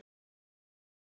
Þú ferð ekkert inn í stofu!